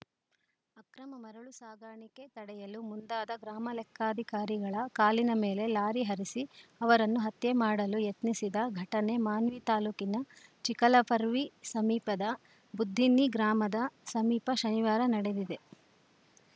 ಅಕ್ರಮ ಮರಳು ಸಾಗಾಣಿಕೆ ತಡೆಯಲು ಮುಂದಾದ ಗ್ರಾಮಲೆಕ್ಕಾಧಿಕಾರಿಗಳ ಕಾಲಿನ ಮೇಲೆ ಲಾರಿ ಹರಿಸಿ ಅವರನ್ನು ಹತ್ಯೆ ಮಾಡಲು ಯತ್ನಿಸಿದ ಘಟನೆ ಮಾನ್ವಿ ತಾಲೂಕಿನ ಚಿಕಲಪರ್ವಿ ಸಮೀಪದ ಬುದ್ದಿನ್ನಿ ಗ್ರಾಮದ ಸಮೀಪ ಶನಿವಾರ ನಡೆದಿದೆ